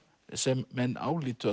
sem menn álitu